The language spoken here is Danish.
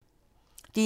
DR1